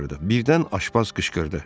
Birdən Aşpaz qışqırdı.